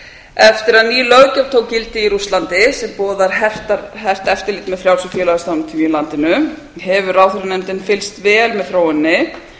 eftir að ný löggjöf tók gildi í rússlandi sem boðar hert eftirlit með frjálsum félagasamtökum í landinu hefur ráðherranefndin fylgst vel með þróuninni